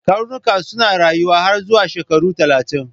Karnuka suna rayuwa har zuwa shekaru talatin.